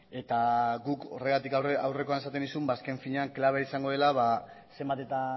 eta guk horregatik aurrekoan esaten nizun azken finean klabea izango dela zenbat eta